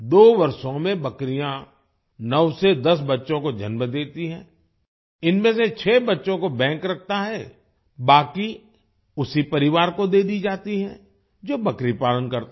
2 वर्षों में बकरियां 9 से 10 बच्चों को जन्म देती हैं इनमें से 6 बच्चों को बैंक रखता है बाकी उसी परिवार को दे दी जाती है जो बकरी पालन करता है